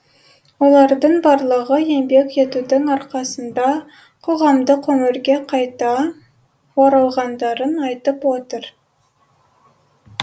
олардың барлығы еңбек етудің арқасында қоғамдық өмірге қайта оралғандарын айтып отыр